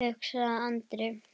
hugsaði Andri.